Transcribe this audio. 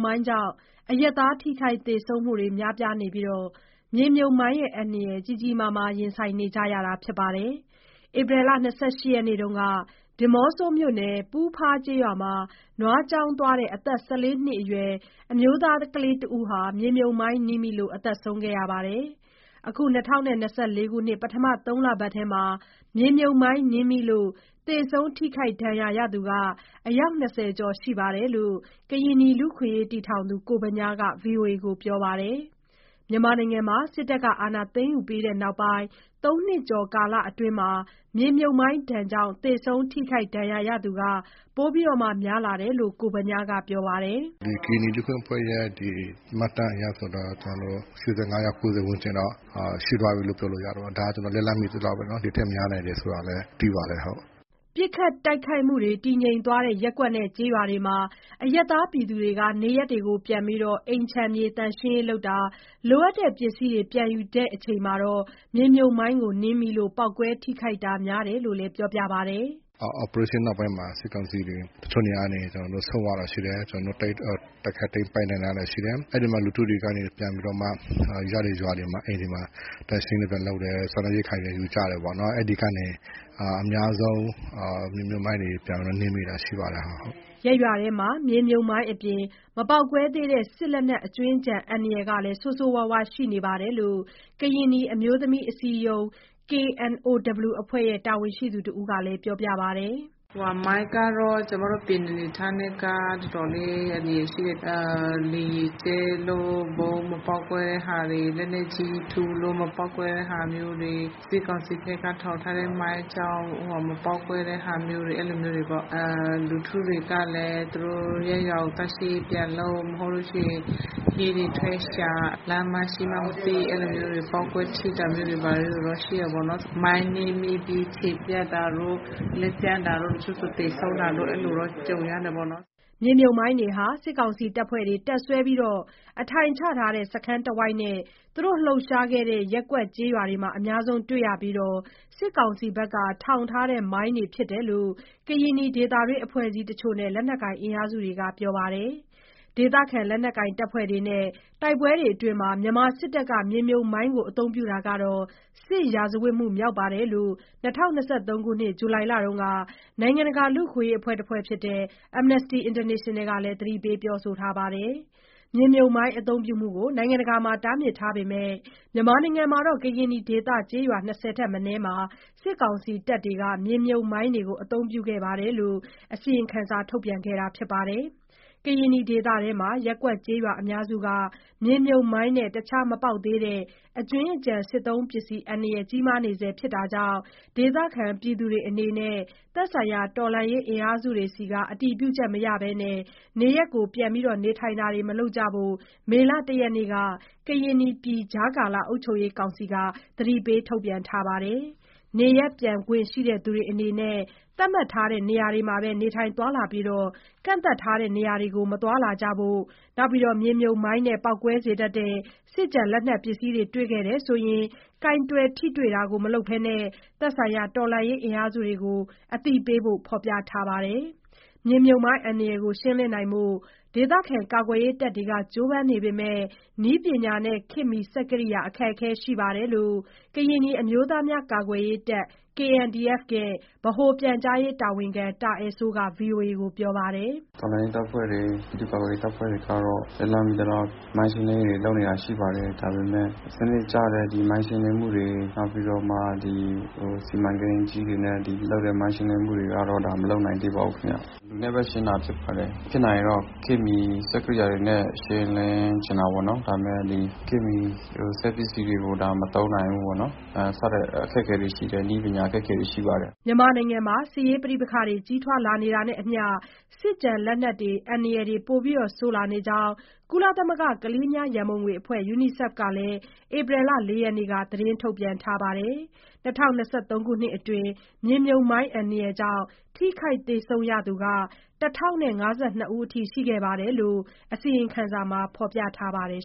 မိုင်းကြောင့် အရပ်သားထိခိုက်သေဆုံးမှု များပြားနေပြီး မြေမြှုပ်မိုင်းအန္တရာယ် ကြီးကြီးမားမား ရင်ဆိုင်ကြနေရပါတယ်။ ဧပြီ ၂၈ ရက်နေ့တုန်းက ဒီးမော့ဆိုမြို့နယ် ပူးဖားကျေးရွာမှာ နွားကျောင်းသွားတဲ့ အသက် ၁၄ နှစ်အရွယ် အမျိုးသားကလေးတစ်ဦးဟာ မြေမြှုပ်မိုင်းနင်းမိလို့ သေဆုံးခဲ့ပါတယ်။ အခု ၂၀၂၄ ခုနှစ် ပထမ ၃ လပတ်ထဲမှာ မြေမြှုပ်မိုင်းနင်းမိလို့ သေဆုံးထိခိုက်ဒဏ်ရာရှိသူ အယောက် ၂၀ ကျော်ရှိတယ်လို့ ကရင်နီလူ့အခွင့်အရေးအဖွဲ့တည်ထောင်သူ ကိုဗညားက ဗွီအိုအေကို ပြောပါတယ်။ စစ်အာဏာသိမ်းယူပြီးနောက်ပိုင်း ၃ နှစ်ကျော်ကာလအတွင်းမှာတော့ မြေမြှုပ်မိုင်းကြောင့် သေဆုံး၊ ထိခိုက်ဒဏ်ရာရရှိသူ ပိုများလာတယ်လို့လည်း ပြောပါတယ်။ “ဒီကရင်နီလူ့အခွင့်အရေးအဖွဲ့ရဲ့ မှတ်တမ်းအရဆိုတာ ကျနော်တို့ ၈၅ ယောက် ၉၀ ဝန်းကျင်တော့ ရှိသွားပြီးလို့ ပြောလို့ရတာပေါ့။ ဒါကျနော်လက်လှမ်းမီသလောက်ပဲနော် ဒီထက် များနိုင်တယ်ဆိုတာလည်း သိပါတယ်ဟုတ်။” ပစ်ခတ်တိုက်ခိုက်မှု တည်ငြိမ်တဲ့ ရပ်ကွက်နဲ့ ကျေးရွာတွေမှာ အရပ်သားတွေ နေရပ်ပြန်ပြီး အိမ်ခြံသန့်ရှင်းရေးလုပ်တာ၊ လိုအပ်တဲ့ပစ္စည်းတွေ ပြန်ယူရင်း နင်းမိလို့ ပေါက်ကွဲထိခိုက်တာ များတယ်လို့လည်း ပြောပါတယ်။ “operation နောက်ပိုင်းမှာ စစ်ကောင်စီတွေ တချို့နေရာကနေ ဆုတ်သွားတာရှိတယ်။ ကျနော်တို့ တိုက်ခိုက်သိမ်းပိုက်နိုင်တာရှိတယ်။ အဲ့ဒီမှာ လူထုတွေကနေ ပြန်ပြီးတော့မှ ရတဲ့ရွာတွေမှာ အိမ်တွေမှာ သန့်ရှင်းရေးတွေ ပြန်လုပ်တယ်၊ စားနပ်ရိက္ခာတွေလည်း ယူကြတယ်ပေါ့နော်။ အဲ့ဒီကနေ အများဆုံး မြေမြှုပ်မိုင်းတွေ ပြန်ပြီးတော့ နင်းမိတာရှိတယ်ဟုတ်။” ရပ်ရွာထဲမှာ မြေမြှုပ်မိုင်းအပြင် မပေါက်ကွဲသေးတဲ့ စစ်လက်နက် အကြွင်းအကျန် အန္တရာယ်လည်း ဆိုးရွားရှိနေတယ်လို့ ကရင်နီအမျိုးသမီးအစည်းအရုံး (KNOW) အဖွဲ့ တာဝန်ရှိသူတဦးက ပြောပါတယ်။ “မိုင်းကတော့ ကျမတို့ ကရင်နီအနေအထားနဲ့က တော်တော်လေး အန္တရာယ်ရှိတယ်။ လေယာဉ်ကြဲလို့ ဗုံးမပေါက်ကွဲတဲ့ဟာတွေ လက်နက်ကြီးထုလို့ မပေါက်ကွဲတဲ့ဟာမျိုးတွေ စစ်ကောင်စီဖက်က ထောင်ထားတဲ့မိုင်းကြောင့် မပေါက်ကွဲတဲ့ဟာမျိုးတွေ အဲ့လိုမျိုးတွေပေါ့။ လူထုတွေကလည်း သူတို့ရပ်ရွာကို သန့်ရှင်းရေးပြန်လုပ် မဟုတ်လို့ရှိရင် ဟင်းတွေထွက်ရှာ လမ်းမှာရှိမှန်းမသိ အဲ့လိုမျိုးတွေပေါ့ ပေါက်ကွဲထိတာမျိုးတွေ ဘာတွေ ရှိတယ်။ မိုင်းနင်းမိပြီး ခြေပြတ်တာတို့ လက်ပြတ်တာတို့ တချို့ဆိုသေဆုံးတာတို့ အဲ့လိုမျိုးတော့ ကြုံရတယ်ပေါ့နော်။” မြေမြှုပ်မိုင်းတွေဟာ စစ်ကောင်စီတပ်ဖွဲ့တွေ တပ်စွဲအထိုင်ချထားတဲ့ စခန်းတဝိုက်နဲ့ သူတို့လှုပ်ရှားခဲ့တဲ့ ရပ်ကွက်၊ ကျေးရွာတွေမှာ အများဆုံးတွေ့ရပြီး စစ်ကောင်စီဘက်က ထောင်ထားတဲ့ မိုင်းတွေဖြစ်တယ်လို့ ကရင်နီဒေသတွင်းအဖွဲ့အစည်းတချို့နဲ့ လက်နက်ကိုင် အင်အားစုတွေက ပြောပါတယ်။ ဒေသခံလက်နက်ကိုင်အဖွဲ့တွေနဲ့ တိုက်ပွဲတွေအတွင်း မြန်မာစစ်တပ်က မြေမြှုပ်မိုင်း အသုံးပြုတာဟာ စစ်ရာဇဝတ်မှုမြောက်တယ်လို့ ၂၀၂၃ ခုနှစ် ဇူလိုင်လမှာ နိုင်ငံတကာလူ့အခွင့်အရေးအဖွဲ့ Amnesty International က သတိပေးထားပါတယ်။ မြေမြှုပ်မိုင်း အသုံးပြုမှုကို နိုင်ငံတကာမှာ တားမြစ်ထားပေမယ့် ကရင်နီဒေသ ကျေးရွာ ၂၀ ထက်မနည်းမှာ စစ်ကောင်စီတပ်တွေက မြေမြှုပ်မိုင်းတွေ အသုံးပြုခဲ့တယ်လို့ အစီရင်ခံစာ ထုတ်ပြန်ခဲ့တာပါ။ ကရင်နီပြည်အတွင်းမှာ ရပ်ကွက်ကျေးရွာအများစုက မြေမြှုပ်မိုင်းနဲ့ အခြား မပေါက်သေးတဲ့ အကြွင်းအကျန်စစ်သုံးပစ္စည်း အန္တရာယ် ကြီးမားနေဆဲဖြစ်တာကြောင့် ဒေသခံတွေအနေနဲ့ သက်ဆိုင်ရာ တော်လှန်ရေးအင်အားစုတွေဆီ အတည်ပြုချက်မရဘဲ နေရပ်ပြန်နေထိုင်တာမလုပ်ကြဖို့ မေလ ၁ ရက်နေ့က ကရင်နီပြည်ကြားကာလ အုပ်ချုပ်ရေးကောင်စီက အသိပေးထုတ်ပြန်ထားပါတယ်။ နေရပ်ပြန်ထိုင်ခွင့်ရှိသူတွေအနေနဲ့ သတ်မှတ်ထားတဲ့ နေရာမှာပဲ နေထိုင်သွားလာပြီး ကန့်သတ်ထားတဲ့ နေရာတွေမှာ သွားလာတာ မလုပ်ကြဖို့၊ မြေမြှုပ်မိုင်းနဲ့ ပေါက်ကွဲစေတတ်တဲ့ စစ်လက်နက်ပစ္စည်းတွေ တွေ့ရှိရင် ကိုင်တွယ်ထိတွေ့တာ မလုပ်ဘဲ သက်ဆိုင်ရာ တော်လှန်ရေးအင်အားစုတွေကို အသိပေးဖို့ ဖော်ပြထားပါတယ်။ မြေမြှုပ်မိုင်းအန္တရာယ်ကို ရှင်းလင်းနိုင်ဖို့ ကာကွယ်ရေးတပ်တွေ ကြိုးပမ်းနေပေမယ့် နည်းပညာနဲ့ ခေတ်မီစက်ကိရိယာ အခက်အခဲ ရှိနေတယ်လို့ ကရင်နီအမျိုးသားများကာကွယ်ရေးတပ်(KNDF) ဗဟိုပြန်ကြားရေးတာဝန်ရှိသူ တာအယ်စိုးက ဗွီအိုအေကို ပြောပါတယ်။ “တော်လှန်ရေးတပ်ဖွဲ့တွေ ပြည်သူ့ကာကွယ်ရေးတပ်ဖွဲ့တွေကတော့ လက်လှမ်းမီသလောက် မိုင်းရှင်းလင်းရေးလုပ်နေတာရှိပါတယ်။ ဒါပေမယ့် စနစ်ကျတဲ့ ဒီမိုင်းရှင်းလင်းမှုတွေ နောက်ပြီးတော့မှ ဒီစီမံကိန်းအကြီးတွေနဲ့ လုပ်တဲ့ မိုင်းရှင်းလင်းမှုတွေကတော့ ဒါမလုပ်နိုင်သေးဘူးခင်ဗျ။ လူနဲ့ပဲ ရှင်းတာဖြစ်ပါတယ်။ ဖြစ်နိုင်ရင်တော့ ခေတ်မီစက်ကိရိယာတွေနဲ့ ရှင်းလင်းချင်တာပေါ့နော် ဒါပေမယ့်ဒီခေတ်မီစက်ပစ္စည်းတွေကို ဒါမသုံးနိုင်ဘူးပေါ့နော်၊ စတဲ့အခက်အခဲလေးတွေ ရှိတယ် နည်းပညာအခက်အခဲတွေ ရှိပါတယ်။” မြန်မာနိုင်ငံမှာ ပဋိပက္ခတွေ ကြီးထွားလာနေတာနဲ့အမျှ စစ်ကျန်လက်နက်တွေ အန္တရာယ် ပိုဆိုးလာနေကြောင်း ကုလသမဂ္ဂ ကလေးငယ်များ ရန်ပုံအဖွဲ့ UNICEF က ဧပြီ ၄ရက်နေ့က ထုတ်ပြန်ထားပါတယ်။ ၂၀၂၃ ခုနှစ်အတွင်း မြေမြှုပ်မိုင်းကြောင့် ထိခိုက် သေဆုံးသူရ ၁,၀၅၂ ဦး ရှိတယ်လို့လည်း အစီရင်ခံစာက ဖော်ပြထားပါတယ်